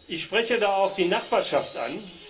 Ich spreche da auch die Nachbarschaft an.